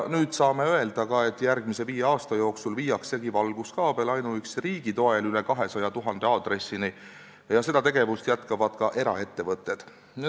Nüüd saame öelda, et järgmise viie aasta jooksul viiakse valguskaabel ainuüksi riigi toel üle 200 000 aadressini ja seda tegevust jätkavad ka eraettevõtted.